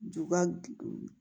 Juba guw